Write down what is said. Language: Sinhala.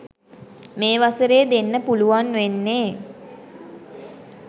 මේ වසරේ දෙන්න පුළුවන් වෙන්නේ